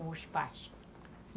Os pais.